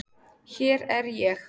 Hér er ég.